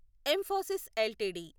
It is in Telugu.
emphasis LTD